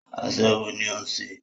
Aṣẹ́wó ní o ń ṣe.